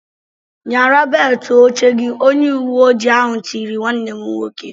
"Nyara beltụ oche gị!" Onye uweoji ahụ tiri nwanne m nwoke.